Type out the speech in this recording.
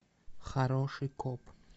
хороший коп